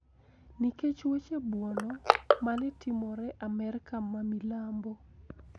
Nikech weche buono ma ne timore Amerka ma milambo